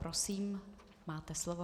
Prosím, máte slovo.